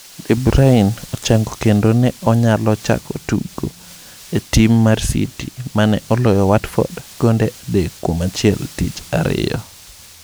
De Bruyne ochango kendo ne onyalo chako tugo e tim mar City mane oloyo Watford gonde 3-1 tich ariyo